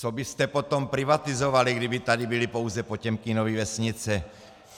Co byste potom privatizovali, kdyby tady byly pouze Potěmkinovy vesnice?